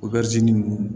O ninnu